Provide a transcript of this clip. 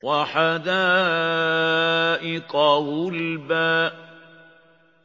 وَحَدَائِقَ غُلْبًا